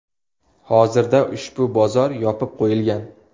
Hozirda ushbu bozor yopib qo‘yilgan.